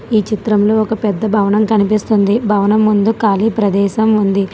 ఈ చిత్రంలో ఒక పెద్ద భవనం కనిపిస్తుంది భవనం ముందు ఖాళీ ప్రదేశం ఉంది.